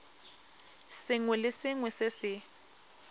sengwe le sengwe se se